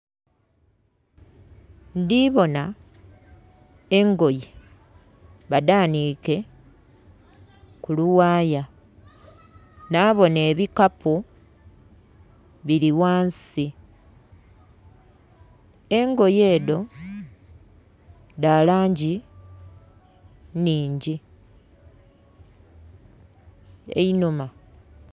Ndhi bona engoye badhaanike ku luwaaya. Nhabona ebikapu bili ghansi. Engoye edho dha langi nnhingi. Einhuma....